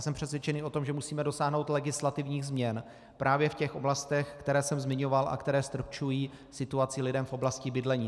Jsem přesvědčený o tom, že musíme dosáhnout legislativních změn právě v těch oblastech, které jsem zmiňoval a které ztrpčují situaci lidem v oblasti bydlení.